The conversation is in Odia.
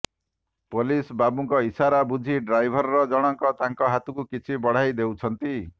ପୋଲିସ ବାବୁଙ୍କ ଇସାରା ବୁଝି ଡ୍ରାଇଭର ଜଣଙ୍କ ତାଙ୍କ ହାତକୁ କିଛି ବଢାଇ ଦେଉଛନ୍ତି